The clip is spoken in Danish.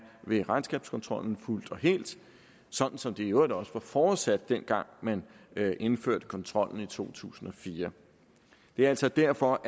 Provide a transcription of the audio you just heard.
ved regnskabskontrollen fuldt og helt sådan som det i øvrigt også var forudsat dengang man indførte kontrollen i to tusind og fire det er altså derfor